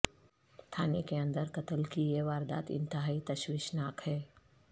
تھانے کے اندر قتل کی یہ واردات انتہائی تشویش ناک ہے